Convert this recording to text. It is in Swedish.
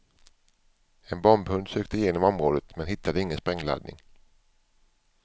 En bombhund sökte igenom området men hittade ingen sprängladdning.